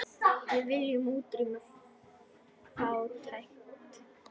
Við viljum útrýma fátækt.